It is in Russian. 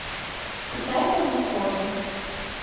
скачай тони скотта